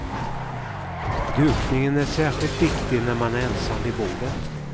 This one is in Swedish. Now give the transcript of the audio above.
Dukningen är särskilt viktig när man är ensam vid bordet.